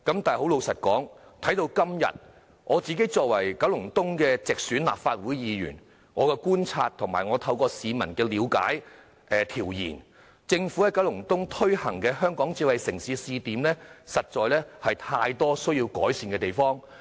但老實說，直到今天，我作為九龍東的直選立法會議員，據我的觀察及透過向市民了解和進行調研，政府以九龍東作為推行香港智慧城市的試點，實在有太多需要改善的地方。